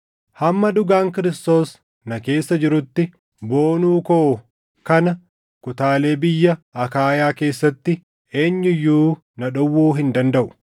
Hamma dhugaan Kiristoos na keessa jirutti boonuu koo kana kutaalee biyya Akaayaa keessatti eenyu iyyuu na dhowwuu hin dandaʼu.